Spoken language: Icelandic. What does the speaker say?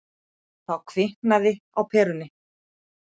Þá kviknaði á perunni.